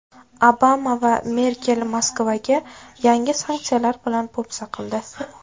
Obama va Merkel Moskvaga yangi sanksiyalar bilan po‘pisa qildi.